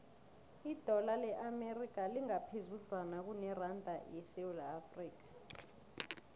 idola le amerika lingaphezudlwana kuneranda yesewula afrika